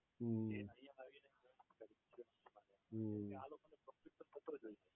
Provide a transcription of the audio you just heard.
હમ્મ હમ્મ